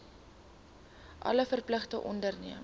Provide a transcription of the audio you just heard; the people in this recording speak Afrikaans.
alle verpligtinge onderneem